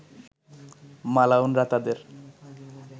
মালাউনরা তাদের